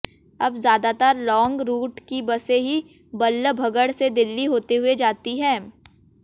अब ज्यादातर long route की बसें ही बल्लभगढ़ से दिल्ली होते हुए जाती हैं